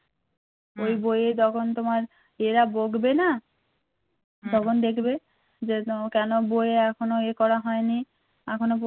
যে তোমার কেন বই এখনও ইয়ে করা হয়নি একজনও পর্যন্ত